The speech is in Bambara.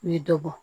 U ye dɔ bɔ